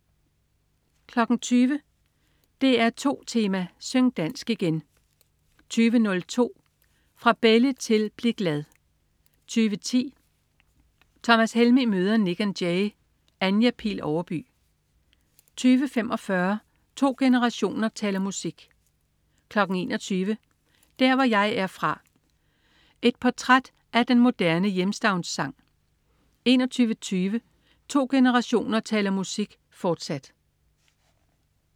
20.00 DR2 Tema: Syng dansk igen 20.02 Fra Belli til Bli Glad 20.10 Thomas Helmig møder Nik & Jay. Anja Pil Overby 20.45 To generationer taler musik 21.00 Der hvor jeg er fra. Et portræt af den moderne hjemstavnssang 21.20 To generationer taler musik, fortsat